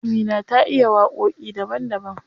Amina ta iya waƙoƙi daban daban.